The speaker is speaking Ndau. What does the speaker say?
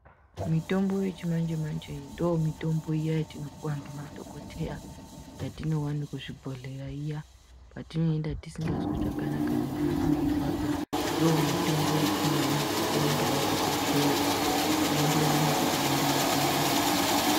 Mitombo yechimanje manje ndomitombo iya yetunopuwa ngemadhokoteya yetinoona kuuzvibhedhlera iya kwetinoenda tisikazwi zvakanaka mwiri yedu yeirwadza ndoyetinopuwa ngemadhokotera zveienderana nekuti denda rako ngeriri.